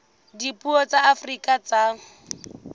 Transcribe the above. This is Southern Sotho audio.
dipuo tsa afrika borwa tsa